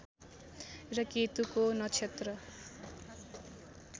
र केतुको नक्षत्र